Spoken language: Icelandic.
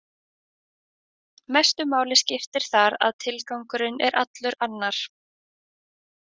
Mestu máli skiptir þar að tilgangurinn er allur annar.